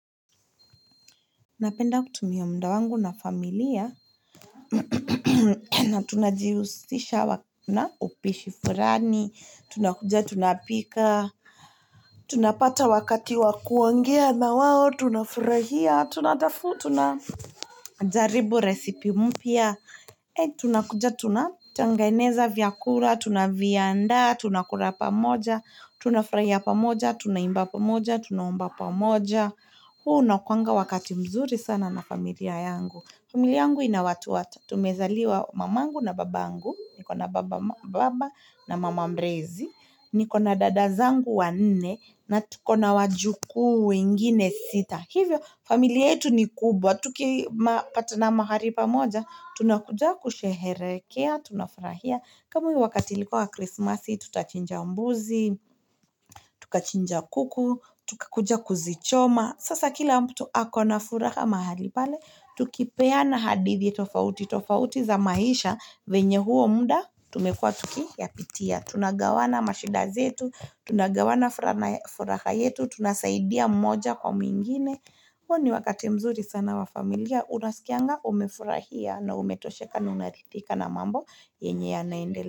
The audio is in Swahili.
Napenda kutumia mda wangu na familia na tunajiusisha na upishi furani Tunakuja tunapika Tunapata wakati wa kuongea na wao Tunafurahia, tunajaribu recipe mpya Tuna kuja tunatengeneza vyakula, tunaviandaa, tunakura pamoja Tunafurahia pamoja, tunaimba pamoja, tunaomba pamoja huu unakuwanga wakati mzuri sana na familia yangu. Familia yangu ina watu watatu Tumezaliwa mamangu na babangu Nikona baba mama mrezi Nikona dada zangu wanne na tuko na wajukuu wengine sita hivyo, familia yetu ni kubwa Tukipatana mahari pamoja Tunakuja kusheherekea Tunafurahia kama hio wakati ilikuwa wa Christmasi Tutachinja umbuzi Tukachinja kuku Tukakuja kuzichoma Sasa kila mtu ako na furaha mahali pale Tukipeana hadithi tofauti tofauti za maisha venye huo muda, tumekwa tukiyapitia Tunagawana mashida zetu Tunagawana furaha yetu Tunasaidia mmoja kwa mwingine huo ni wakati mzuri sana na familia Unaskianga umefurahia na umetosheka na unarithika na mambo yenye yanaendelea.